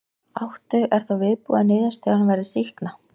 Áttu, er þá viðbúið að niðurstaðan verði sýkna?